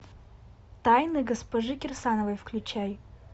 тайны госпожи кирсановой включай